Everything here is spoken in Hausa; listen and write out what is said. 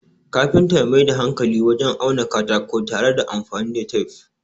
kafinta ya Mai da hankalinsa wajen auna katako tare da anfani da tef